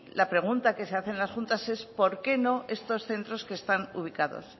la pregunta que se hacen las juntas es por qué no estos centros que están ubicados